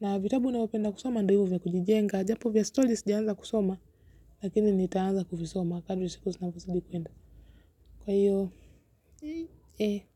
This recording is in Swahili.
Na vitabu ninayopenda kusoma nduoivu ya kujijenga. Japo vya stories jianza kusoma lakini nitaanza kuvisoma. Kadri siku zinavyozidi kuenda. Kwa hiyo, eh.